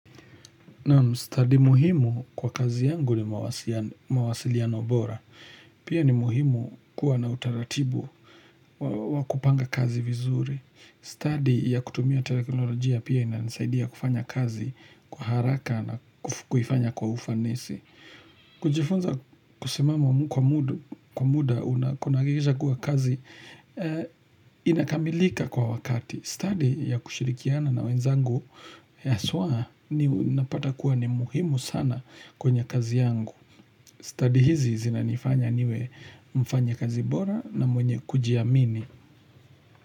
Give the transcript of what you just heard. Na mstadi muhimu kwa kazi yangu ni mawasiliano bora. Pia ni muhimu kuwa na utaratibu wakupanga kazi vizuri. Study ya kutumia telekinolojia pia inasaidia kufanya kazi kwa haraka na kuifanya kwa ufanisi. Kujifunza kusimama kwa muda unakunageja kuwa kazi inakamilika kwa wakati. Study ya kushirikiana na wenzangu haswa ni napata kuwa ni muhimu sana kwenye kazi yangu. Study hizi zina nifanya niwe mfanya kazi bora na mwenye kujiamini.